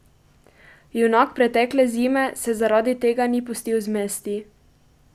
Junak pretekle zime se zaradi tega ni pustil zmesti.